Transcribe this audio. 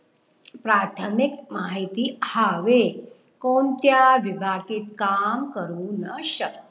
प्राथमिक माहिती हावे कोणत्या विभाकीत काम करू न श